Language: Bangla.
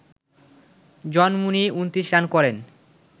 জন মুনি ২৯ রান করেন